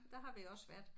Der har vi også været